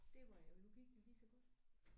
Det var ærgerligt nu gik det lige så godt